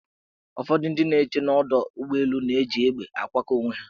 Ụfọdị ndị nche n' ọdọụgbọelu na-eji egbe akwakọ onwe ha.